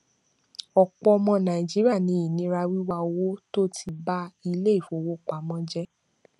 ọpọ ọmọ nàìjíríà ní ìnira wíwá owó tó ti ba iléifowopamọ jẹ